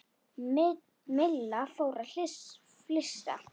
Milla fór að flissa.